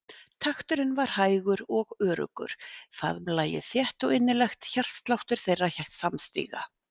Takturinn var hægur og öruggur, faðmlagið þétt og innilegt hjartsláttur þeirra samstíga.